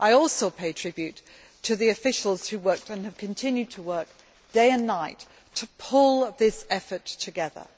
I also pay tribute to the officials who worked and have continued to work day and night to pull this effort together.